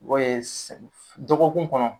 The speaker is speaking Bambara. Dɔye ye s dɔgɔkun kɔnɔ